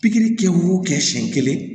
Pikiri kɛ y'o kɛ siɲɛ kelen